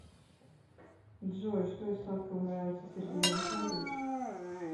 джой что из сладкого нравится сергею александровичу